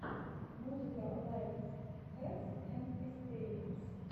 музыка лайф хэкс энд эспериментс